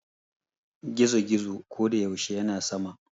gizo- gizo ko da yaushe yana sama